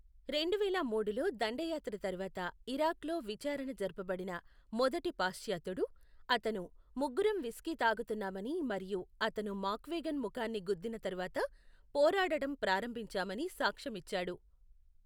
రెండువేల మూడులో దండయాత్ర తర్వాత ఇరాక్లో విచారణ జరపబడిన మొదటి పాశ్చాత్యుడు, అతను, ముగ్గురం విస్కీ తాగుతున్నామని మరియు అతను మాక్గ్వేగన్ ముఖాన్ని గుద్దిన తర్వాత పోరాడటం ప్రారంభించామని సాక్ష్యమిచ్చాడు.